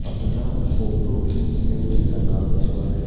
अपना फ़ोटो खिंचने में लगा हुआ है।